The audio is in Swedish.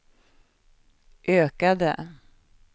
ökade